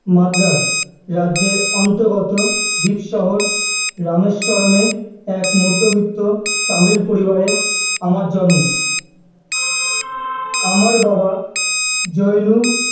মাদ্রাস রাজ্যের অন্তর্গত দ্বীপ শহর রামেশ্বরমে এক মধ্যবিত্ত তামিল পরিবারে আমার জন্ম, আমার বাবা জৈনুল